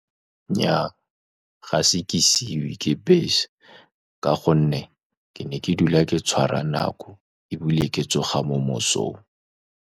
Nnyaa, ga se ke siiwe ke bese, ka gonne ke ne ke dula ke tshwara nako, ebile ke tsoga mo mosong.